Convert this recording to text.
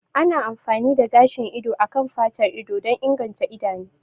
Ana amfani da gashin ido a kan fatar ido don inganta idanu